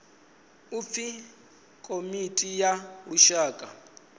u pfi komiti ya lushaka